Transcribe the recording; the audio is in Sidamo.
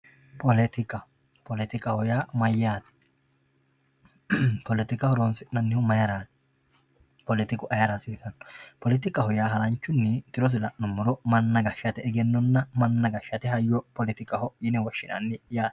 poletika poletikaho yaa mayyate poletika horonsi'nannihu mayiiraati poletiku mayiira hasiisanno poletikaho yaa isi tirosi maati? manna gashshate egennonna manna gashshate hayyo poletikaho yinanni.